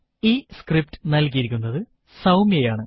ഈ സ്ക്രിപ്റ്റ് നൽകിയിരിക്കുന്നത് സൌമ്യ ആണ്